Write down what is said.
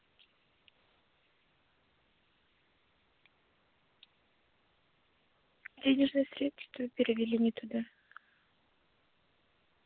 денежные средства перевели не туда